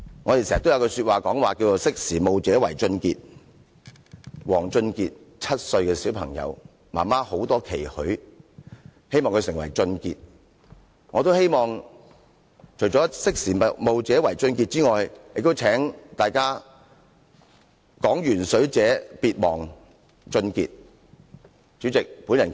我們經常說："識時務者為俊傑"，王俊傑，一位7歲的小朋友，媽媽對他有很多期許，希望他成為俊傑，我也希望除了"識時務者為俊傑"之外，大家"講鉛水者別忘俊傑"。